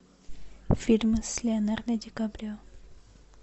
фильмы с леонардо ди каприо